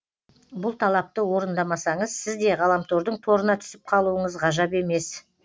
бұл талапты орындамасаңыз сіз де ғаламтордың торына түсіп қалуыңыз ғажап емес